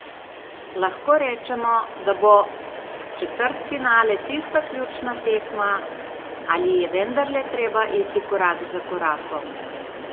Lahko rečemo, da bo četrtfinale tista ključna tekma, ali je vendarle treba iti korak za korakom?